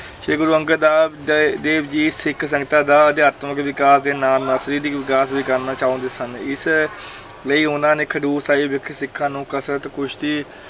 ਸ੍ਰੀ ਗੁਰੂ ਅੰਗਦ ਦਾ ਦੇ ਦੇਵ ਜੀ ਸਿੱਖ ਸੰਗਤਾਂ ਦਾ ਅਧਿਆਤਮਿਕ ਵਿਕਾਸ ਦੇ ਨਾਲ-ਨਾਲ ਸਰੀਰਿਕ ਵਿਕਾਸ ਵੀ ਕਰਨਾ ਚਾਹੁੰਦੇ ਸਨ, ਇਸ ਲਈ ਉਹਨਾਂ ਨੇ ਖਡੂਰ ਸਾਹਿਬ ਵਿਖੇ ਸਿੱਖਾਂ ਨੂੰ ਕਸਰਤ, ਕੁਸ਼ਤੀ